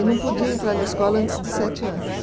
E não podia entrar na escola antes de sete anos.